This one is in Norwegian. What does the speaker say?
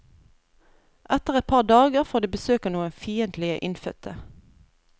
Etter et par dager får de besøk av noen fiendtlige innfødte.